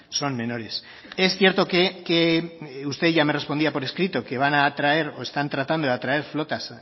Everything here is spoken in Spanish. son menores es cierto que usted ya me respondía por escrito que van atraer o están tratando de atraer flotas